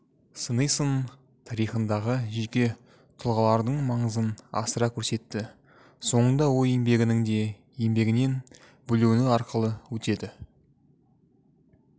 сыни сын тарихындағы жеке тұлғалардың маңызын асыра көрсетті соңында ой еңбегінің дене еңбегінен бөлінуі арқылы өтеді